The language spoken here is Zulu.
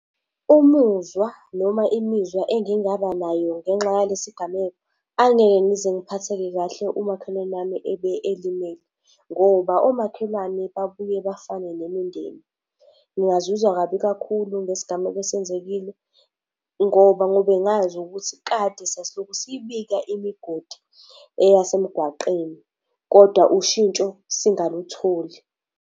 Umuzwa noma imizwa engingaba nayo ngenxa yalesi gameko, angeke ngize ngiphatheke kahle umakhelwane wami ebe elimele. Ngoba omakhelwane babuye bafane nemindeni. Ngingazizwa kabi kakhulu ngesigameko esenzekile, ngoba ngobe ngazi ukuthi kade sasilokhu sibika imigodi eyasemgwaqeni, kodwa ushintsho singalutholi.